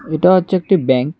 এটা হচ্ছে একটি ব্যাঙ্ক ।